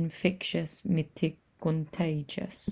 infectious me te contagious